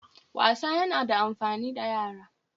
Wasa yana da amfani ga yara